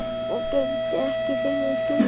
Hún gegndi ekki þeirri skyldu.